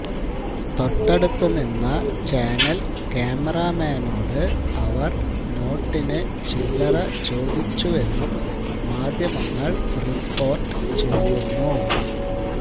തൊട്ടടുത്തു നിന്ന ചാനല് ക്യാമറമാനോട് അവര് നോട്ടിന് ചില്ലറ ചോദിച്ചുവെന്നും മാധ്യമങ്ങള് റിപ്പോര്ട്ട് ചെയ്യുന്നു